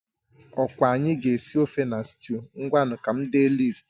Ọkwa anyị ga-esi ofe na sịtịụ, ngwanu ka m dee lịist